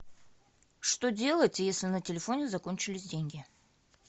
что делать если на телефоне закончились деньги